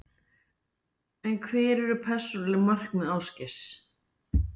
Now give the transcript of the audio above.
En hver eru persónuleg markmið Ásgeirs?